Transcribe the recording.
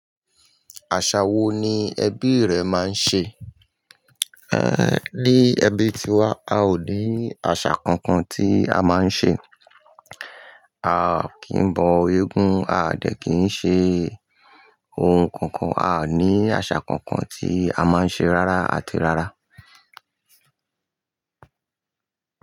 Àṣa wo ni ẹbí rẹ máa ń ṣe? Ní ẹbí ti wa, a ò ní àṣa kankan tí a máa ń ṣe. A kì n bọ eégún, a dẹ̀ kìí ṣe ohun kankan, a ní àṣa kankan tí a máa ń ṣe rárá àti rárá.